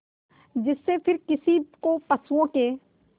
जिससे फिर किसी को पशुओं के